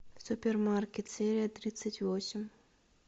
супермаркет серия тридцать восемь